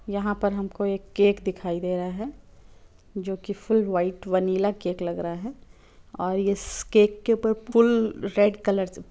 यहा पर हमको एक केक दिखाई दे रहा है जो की फूल व्हाइट वनीला केक लग रहा है और इस केक के ऊपर पुल रेड कलर्स --